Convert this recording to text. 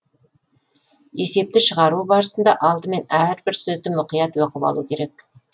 есепті шығару барысында алдымен әрбір сөзді мұқият оқып алу керек